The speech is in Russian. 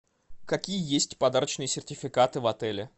какие есть подарочные сертификаты в отеле